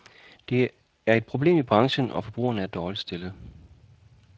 Der er et problem i branchen, og forbrugerne er dårligt stillede.